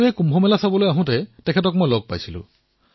সংকটৰ এই সময়ছোৱাতো কৃষি ক্ষেত্ৰত নিজৰ দক্ষতা প্ৰদৰ্শিত কৰিছে